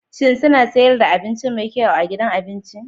Shin suna sayar da abinci mai kyau a gidan abinci?